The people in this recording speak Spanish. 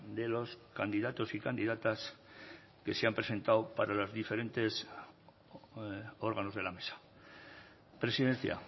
de los candidatos y candidatas que se han presentado para los diferentes órganos de la mesa presidencia